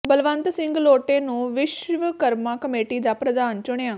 ਬਲਵੰਤ ਸਿੰਘ ਲੋਟੇ ਨੂੰ ਵਿਸ਼ਵਕਰਮਾ ਕਮੇਟੀ ਦਾ ਪ੍ਰਧਾਨ ਚੁਣਿਆ